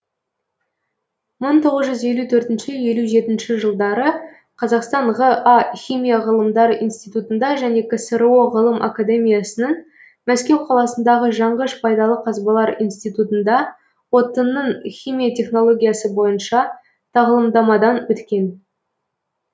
мың тоғызжүз елу төртінші елужетінші жылдары қазақстан ға химия ғылымдары институтында және ксро ғылым академиясының мәскеу қаласындағы жанғыш пайдалы қазбалар институтында отынның химия технологиясы бойынша тағылымдамадан өткен